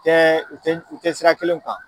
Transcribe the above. Tɛ u tɛ u tɛ sira kelen kan.